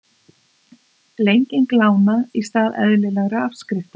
Lenging lána í stað eðlilegra afskrifta